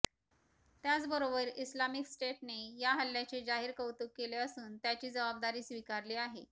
त्याचबरोबर इस्लामिक स्टेटने या हल्ल्याचे जाहीर कौतुक केलं असून त्याची जबाबदारी स्वीकारली आहे